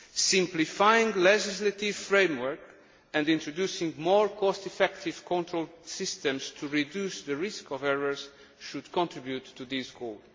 Simplifying the legislative framework and introducing more cost effective control systems to reduce the risk of errors should contribute to this goal.